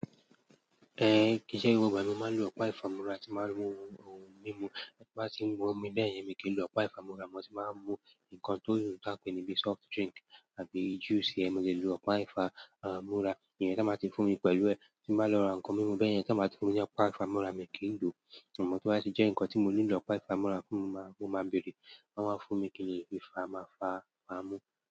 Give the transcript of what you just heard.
Eh kí ṣe ìwọ bàbá mi máa ń lo Ọpẹ́ Ifamura tí màá mú ohun mímu bí wọ́n bá ti ń mú mi bẹ́ẹ̀ yẹn mi kì í lo Ọpẹ́ Ifamura mò tí màá mú nǹkan tó yàn tí a pè níbí soft drink àbí juice. Ẹ̀ mò lè lò Ọpẹ́ Ifamura ìyẹn tí wọ́n bá ti fún mi pẹ̀lú ẹ tí màá lọ ra ǹkan mímu bẹ́ẹ̀ yẹn tí wọ́n bá ti fún mi ní Ọpá Ifámùrá mi kì í lò àmọ̀ tó bá jẹ́ ǹkan tí mo nílò Ọpá Ifámùrá fún mo máa bèrè wọ́n máa fún mi kí n lè fi fáa má fáa má mú.